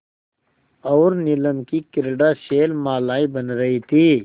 और नीलम की क्रीड़ा शैलमालाएँ बन रही थीं